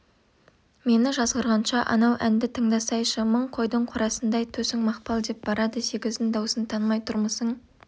мені жазғырғанша анау әнді тыңдасайшы мың қойдың қорасындай төсің мақпал деп барады сегіздің даусын танымай тұрмысың